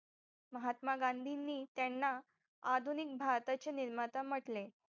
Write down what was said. महात्मा गांधींनी त्यांना आधुनिक भारताचे निर्माता म्हटले